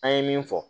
An ye min fɔ